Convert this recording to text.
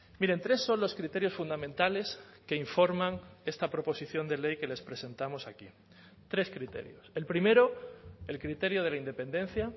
miren tres son los criterios fundamentales que informan esta proposición de ley que les presentamos aquí tres criterios el primero el criterio de la independencia